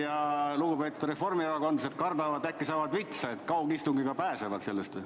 Kas lugupeetud sotsid ja reformierakondlased kardavad, et äkki saavad vitsa, ning loodavad kaugistungiga sellest pääseda?